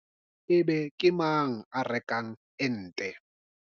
Ebe ke mang a rekang ente?